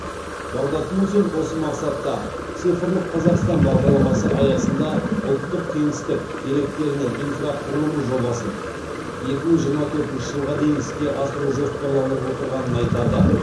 бағдат мусин осы мақсатта цифрлық қазақстан бағдарламасы аясында ұлттық кеңістік деректерінің инфрақұрылымы жобасын екі мың жиырма төртінші жылға дейін іске асыру жоспарланып отырғанын айтады